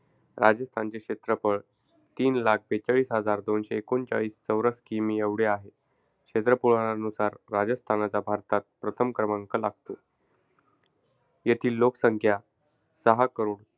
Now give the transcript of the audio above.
राजस्थानचे क्षेत्रफळ तीन लाख बेचाळीस हजार दोनशे एकोणचाळीस चौरस kilometers एवढे आहे. क्षेत्रफळानुसार राजस्थानचा भारतात प्रथम क्रमांक लागतो. येथील लोकसंख्या सहा करोड,